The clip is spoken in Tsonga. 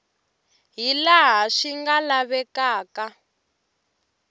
hi laha swi nga lavekaka